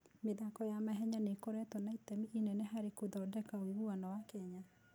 mĩthako ya mahenya nĩ ĩkoretwo na itemi inene harĩ gũthondeka ũiguano wa Kenya.